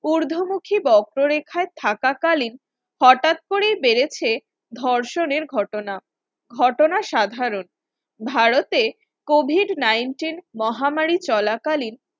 ঊর্ধ্বমুখী বক্ররেখায় থাকাকালীন হঠাৎ করেই বেড়েছে ধর্ষণের ঘটনা ঘটনা সাধারণত ভারতে Covid nineteen মহামারী চলাকালীন